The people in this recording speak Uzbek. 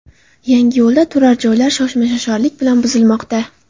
Yangiyo‘lda turar joylar shoshma-shosharlik bilan buzilmoqda.